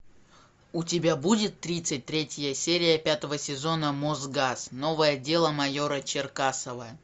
у тебя будет тридцать третья серия пятого сезона мосгаз новое дело майора черкасова